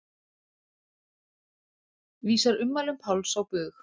Vísar ummælum Páls á bug